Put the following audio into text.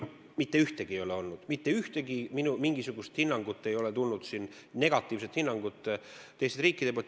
Mitte ühtegi sellist asja ei ole olnud, mitte ühtegi negatiivset hinnangut ei ole tulnud teistest riikidest.